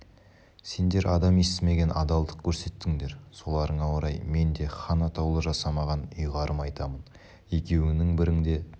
сендер адам естімеген адалдық көрсеттіңдер соларыңа орай мен де хан атаулы жасамаған ұйғарым айтамын екеуіңнің біріңде